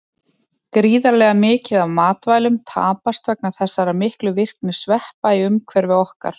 Gríðarlega mikið af matvælum tapast vegna þessara miklu virkni sveppa í umhverfi okkar.